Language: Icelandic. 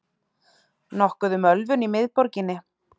Nokkuð um ölvun í miðborginni